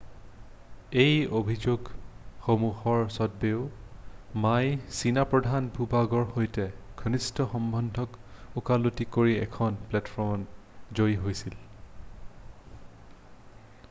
এই অভিযোগসমূহৰ সত্ত্বেও মায়ে চীনা প্ৰধান ভূ-ভাগৰ সৈতে ঘনিষ্ঠ সম্বন্ধক ওকালতি কৰি এখন প্লেটফৰ্মত জয়ী হৈছিল৷